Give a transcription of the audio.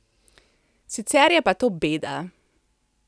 Sicer je pa to beda.